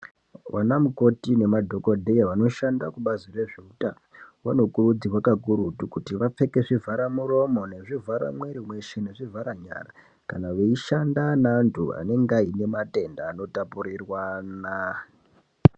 Vanamukoti nemadhokodheya vanoshanda kubazi rezveutano vanokurudzirwa kakurutu kuti vapfeke zvivharamuromo, nezvivhara mwiiri weshe nezvivhara nyara kana veishanda naantu anenge aine matenda anotapurirwana.